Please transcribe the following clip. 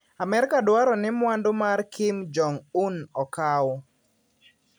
Amerka dwaro ni mwandu mar Kim Jong-un okaw.